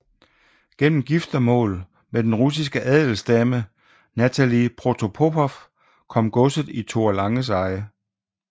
Gennem giftermål med den russiske adelsdame Natalie Protopopov kom godset i Thor Langes eje